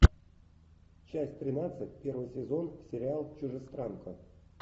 часть тринадцать первый сезон сериал чужестранка